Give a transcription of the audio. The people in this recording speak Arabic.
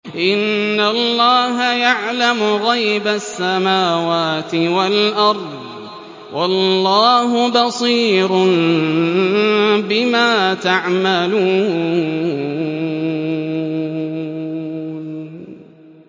إِنَّ اللَّهَ يَعْلَمُ غَيْبَ السَّمَاوَاتِ وَالْأَرْضِ ۚ وَاللَّهُ بَصِيرٌ بِمَا تَعْمَلُونَ